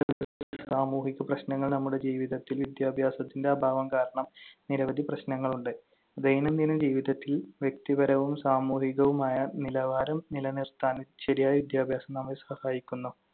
സാമൂഹിക പ്രശ്‌നങ്ങൾ, നമ്മുടെ ജീവിതത്തിൽ വിദ്യാഭ്യാസത്തിന്‍റെ അഭാവം കാരണം നിരവധി പ്രശ്‌നങ്ങളുണ്ട്. ദൈനംദിന ജീവിതത്തിൽ വ്യക്തിപരവും സാമൂഹികവുമായ നിലവാരം നിലനിർത്താൻ ശരിയായ വിദ്യാഭ്യാസം നമ്മെ സഹായിക്കുന്നു.